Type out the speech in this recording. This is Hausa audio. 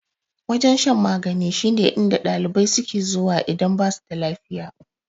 Wajen shan magani shine inda ɗalibai suke zuwa idan basu da lafiya.